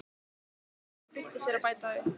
þóknun og flýtti sér að bæta við